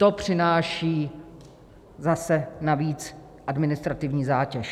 To přináší zase navíc administrativní zátěž.